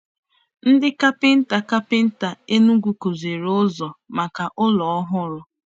Ndị kapịnta kapịnta Enugwu kpụrụ ụzọ maka ụlọ ọhụrụ.